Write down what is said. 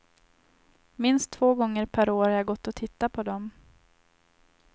Minst två gånger per år har jag gått och tittat på dem.